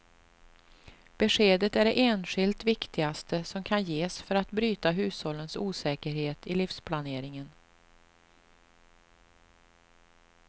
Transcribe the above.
Beskedet är det enskilt viktigaste som kan ges för att bryta hushållens osäkerhet i livsplaneringen.